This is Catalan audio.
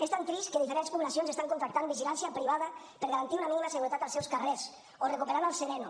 és tan trist que diferents poblacions estan contractant vigilància privada per garantir una mínima seguretat als seus carrers o recuperant el sereno